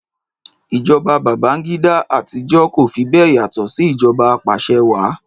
Ìjọba Babangida àtijọ́ kò fi bẹ́ẹ̀ yàtọ̀ sí ìjọba apàṣẹwàá.